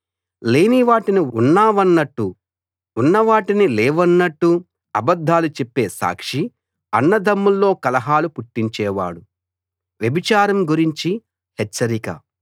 లేనివాటిని ఉన్నవన్నట్టు ఉన్నవాటిని లేవన్నట్టు అబద్ధాలు చెప్పే సాక్షి అన్నదమ్ముల్లో కలహాలు పుట్టించేవాడు